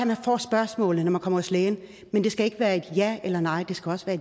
man får spørgsmålet når man kommer til lægen men det skal ikke være et ja eller nej der skal også være